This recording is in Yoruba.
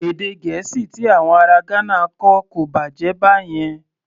Èdè Gẹ̀ẹ́sì ti àwọn ará Ghana kò bàjẹ́ báyẹn.